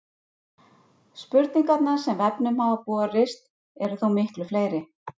Spurningarnar sem vefnum hafa borist eru þó miklu fleiri.